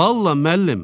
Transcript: Vallah, müəllim.